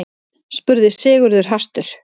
spurði Sigurður hastur.